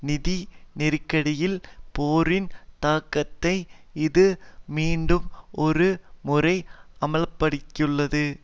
நிதி நெருக்கடியில் போரின் தாக்கத்தை இது மீண்டும் ஒரு முறை அம்பல படுத்தியுள்ளது